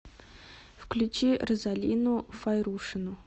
включи розалину файрушину